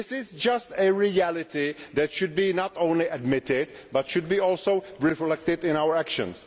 This is just a reality that should be not only admitted but should be also reflected in our actions.